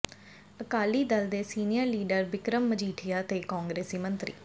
ਅਕਾਲੀ ਦਲ ਦੇ senior leader Bikram Majithia ਤੇ ਕਾਂਗਰਸੀ ਮੰਤਰੀ